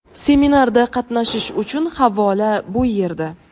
Seminarda qatnashish uchun havola bu yerda.